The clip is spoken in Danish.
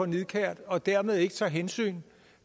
nidkært og dermed ikke tager hensyn